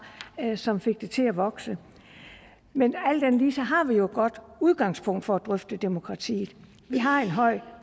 som fik det til at vokse men alt andet lige har vi jo et godt udgangspunkt for at drøfte demokratiet vi har en høj